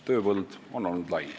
Tööpõld on olnud lai.